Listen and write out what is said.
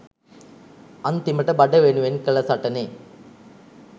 අන්තිමට බඩ වෙනුවෙන් කල සටනෙ